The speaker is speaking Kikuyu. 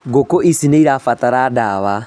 Ngũkũ ici nĩirabatara ndawa